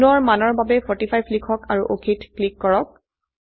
কোণৰ মানৰ বাবে 45 লিখক আৰু অক ক্লিক কৰক